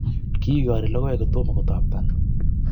Kikori logoek kotomo kotapton